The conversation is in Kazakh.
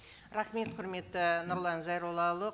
рахмет құрметті нұрлан зайроллаұлы